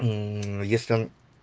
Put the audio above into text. если он